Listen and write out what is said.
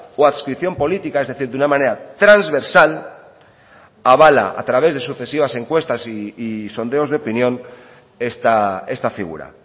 o adscripción política es decir de una manera transversal avala a través de sucesivas encuestas y sondeos de opinión esta figura